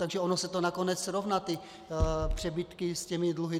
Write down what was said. Takže ono se to nakonec srovná, ty přebytky s těmi dluhy.